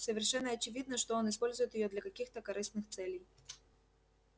совершенно очевидно что он использует её для каких-то корыстных целей